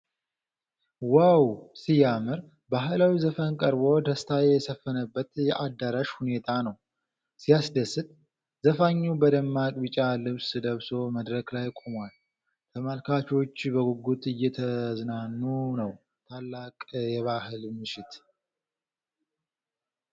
ዋው! ሲያምር! ባህላዊ ዘፈን ቀርቦ ደስታ የሰፈነበት የአዳራሽ ሁኔታ ነው። ሲያስደስት! ዘፋኙ በደማቅ ቢጫ ልብስ ለብሶ መድረክ ላይ ቆሟል። ተመልካቾች በጉጉት እየተዝናኑ ነው። ታላቅ የባህል ምሽት!